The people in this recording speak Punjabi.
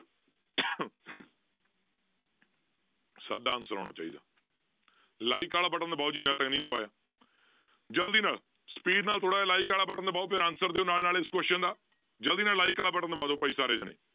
ਸਭ ਦਾ answer ਆਉਣਾ ਚਾਹੀਦਾ like ਵਾਲਾ button ਦਬਾਓ ਜਿਹਨੇ ਹਾਲੇ ਤੱਕ ਨਹੀਂ ਦਬਾਇਆ ਜ਼ਲਦੀ ਨਾਲ speed ਨਾਲ ਥੋੜ੍ਹਾ ਜਿਹਾ like ਵਾਲਾ button ਦਬਾਓ ਫਿਰ answer ਦਿਓ ਨਾਲ ਨਾਲ ਇਸ question ਦਾ ਜ਼ਲਦੀ ਨਾਲ like ਵਾਲਾ button ਦਬਾ ਦਓ ਭਾਈ ਸਾਰੇ ਜਾਣੇ।